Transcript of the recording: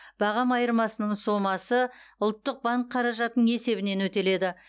бағам айырмасының сомасы ұлттық банк қаражатының есебінен өтеледі